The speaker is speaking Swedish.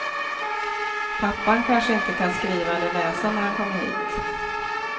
Pappan kanske inte kan skriva eller läsa när han kommer hit.